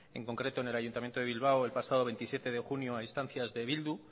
en concreto en el ayuntamiento de bilbao el pasado veintisiete de junio a instancias de bildu